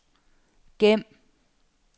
gem